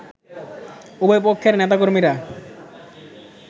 উভয়পক্ষের নেতাকর্মীরা